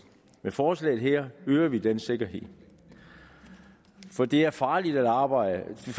med forslaget her øger vi den sikkerhed det er farligt arbejde